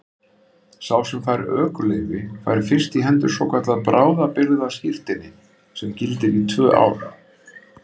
Sá sem fær ökuleyfi fær fyrst í hendur svokallað bráðabirgðaskírteini sem gildir í tvö ár.